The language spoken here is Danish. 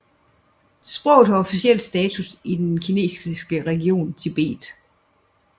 Sproget har officiel status i den kinesiske region Tibet